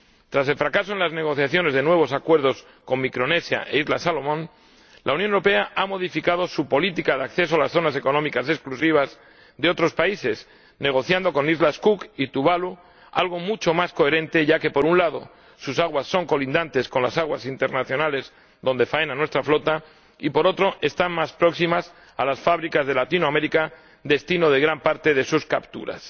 Tras el fracaso en las negociaciones de nuevos acuerdos con Micronesia y las Islas Salomón, la Unión Europea ha modificado su política de acceso a las zonas económicas exclusivas de otros países, negociando con las Islas Cook y Tuvalu, algo mucho más coherente ya que, por un lado, sus aguas son colindantes con las aguas internacionales donde faena nuestra flota y, por otro, están más próximas a las fábricas de Latinoamérica, destino de gran parte de sus capturas.